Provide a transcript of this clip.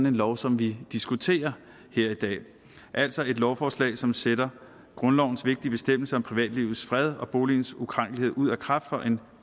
en lov som vi diskuterer her i dag altså et lovforslag som sætter grundlovens vigtige bestemmelse om privatlivets fred og boligens ukrænkelighed ud af kraft for en